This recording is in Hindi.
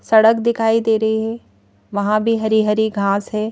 सड़क दिखाई दे रही है वहां भी हरी-हरी घास है।